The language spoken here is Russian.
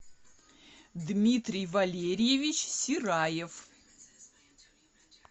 дмитрий валерьевич сираев